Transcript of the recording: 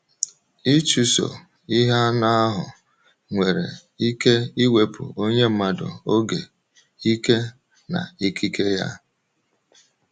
Ịchụso ihe anụ ahụ nwere ike iwepụ onye mmadụ oge, ike, na ikike ya.